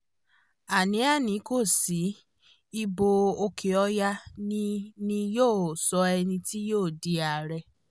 àní àní kò sí ibo òkè ọ̀yà ni ni yóò sọ ẹni tí yóò di ààrẹ